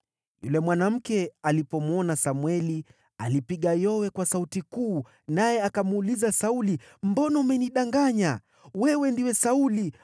Yule mwanamke alipomwona Samweli, alipiga yowe kwa sauti kuu, naye akamuuliza Sauli, “Mbona umenidanganya? Wewe ndiwe Sauli.”